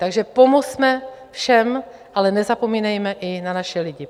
Takže pomozme všem, ale nezapomínejme i na naše lidi.